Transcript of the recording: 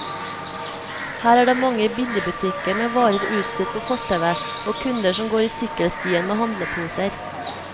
Her er det mange billigbutikker med varer utstilt på fortauet, og kunder som går i sykkelstien med handleposer.